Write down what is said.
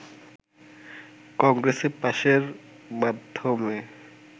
কংগ্রেসে পাশের মাধ্যমে